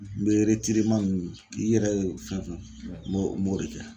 N be ninnu k'i yɛrɛ ye fɛn fɛn m'o m'o de kɛ .